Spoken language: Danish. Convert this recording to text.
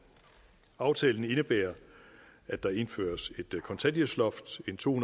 aftalen indebærer at der indføres et kontanthjælpsloft og en to